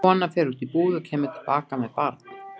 Kona fer út í búð og kemur til baka með barn.